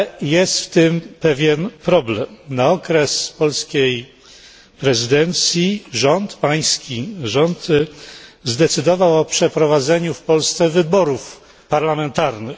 Jest jednak w tym pewien problem. Na okres polskiej prezydencji Pański rząd zdecydował o przeprowadzeniu w Polsce wyborów parlamentarnych.